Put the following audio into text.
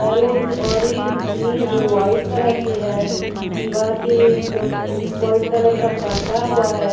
Balloons orange green और white colour के है दीवार पे एक अ व्हाइट कलर का कपड़ा हुआ है।